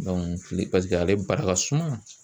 kile pasike ale barika ka suma.